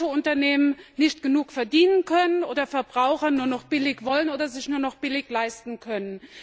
Weil manche Unternehmen nicht genug verdienen können oder Verbraucher nur noch billig wollen oder sich nur noch billig leisten können.